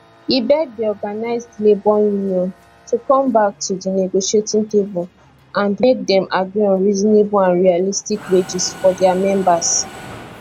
e beg di organised labour union to come back to di negotiating table and make dem agree on reasonable and realistic wages for dia members